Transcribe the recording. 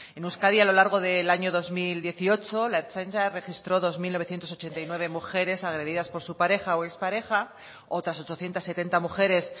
en euskadi a lo largo del año dos mil dieciocho la ertzaintza registro dos mil novecientos ochenta y nueve mujeres agredidas por su pareja o expareja otras ochocientos setenta mujeres